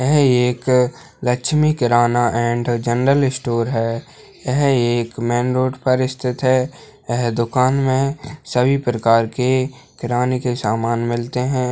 यह एक Lakshmi Kirana and general store है यह एक मेन रोड पर स्थित है यह दुकान में सभी प्रकार के किराने के समान मिलते हैं।